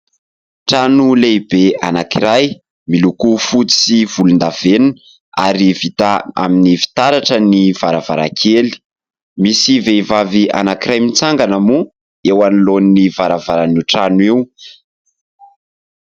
Trano lehibe anankiray miloko fotsy sy volondavenona ary vita amin'ny fitaratra ny varavarankely. Misy vehivavy anankiray mitsangana moa eo anoloan'ny varavaran'io trano io.